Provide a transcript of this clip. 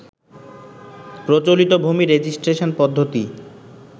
প্রচলিত ভূমি রেজিস্ট্রেশন পদ্ধতি